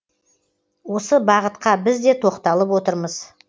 осы бағытқа біз де тоқталып отырмыз